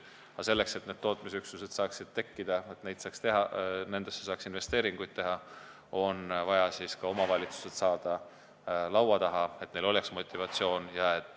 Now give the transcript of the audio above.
Aga selleks, et need tootmisüksused saaksid tekkida ja nendesse saaks investeeringuid teha, on vaja ka omavalitsused laua taha saada, et neil oleks motivatsioon.